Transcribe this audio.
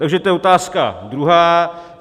Takže to je otázka druhá.